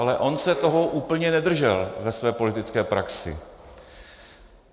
Ale on se toho úplně nedržel ve své politické praxi.